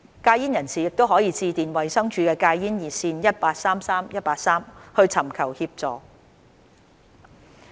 戒煙人士可致電衞生署戒煙熱線 1833,183 尋求協助。